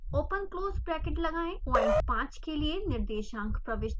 open close bracket लगाएं point 5 के लिए निर्देशांक प्रविष्ट करें